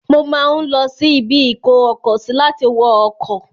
Mo máa ń lọsí ibi-ìkó-ọkọ-sí láti wọ ọkọ̀.